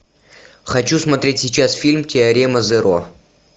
хочу смотреть сейчас фильм теорема зеро